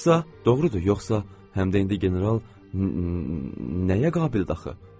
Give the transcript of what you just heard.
Yoxsa, doğrudur, yoxsa həm də indi general nəyə qabildi axı?